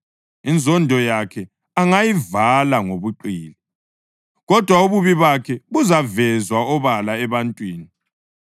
Inzondo yakhe angayivala ngobuqili, kodwa ububi bakhe buzavezwa obala ebantwini.